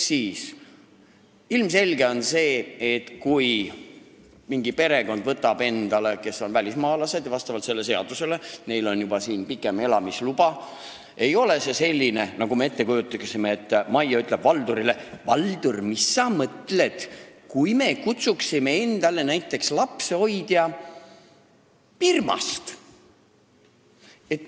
On ilmselge, et kui mingi välismaalaste perekond, kellel vastavalt sellele seadusele on pikem Eestis elamise luba, võtab endale abilise, siis ei ole see nii, nagu meie ettekujutuse kohaselt Maie ütleb Valdurile: "Valdur, mis oleks, kui me kutsuksime endale lapsehoidja Birmast?